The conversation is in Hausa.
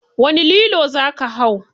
Wani lilo za ka hau?